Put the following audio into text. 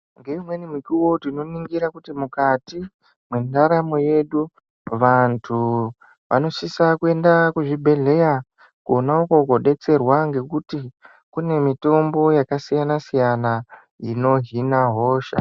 Ngeumweni mukuvo tinoningira kuti mukati mwendaramo yedu. Vantu vanosisa kwenda kuzvibhedhleya kona uko kobetserwa ngekuti kune mitombo yakasiyana-siyana inohina hosha.